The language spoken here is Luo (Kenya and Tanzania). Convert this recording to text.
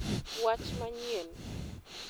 Wach manyien!